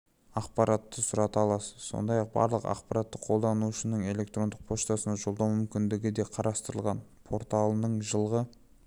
ақпаратты сұрата аласыз сондай-ақ барлық ақпаратты қолданушының электрондық поштасына жолдау мүмкіндігі де қарастырылған порталының жылғы